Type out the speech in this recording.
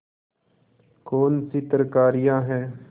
कौनसी तरकारियॉँ हैं